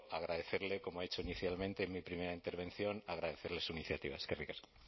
agradecerle como he hecho inicialmente en mi primera intervención agradecerle su iniciativa eskerrik asko